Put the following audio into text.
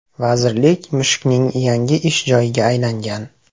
Vazirlik mushukning yangi ish joyiga aylangan.